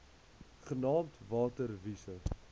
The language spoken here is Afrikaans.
genaamd water wise